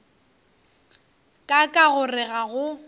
ka ka gore ga go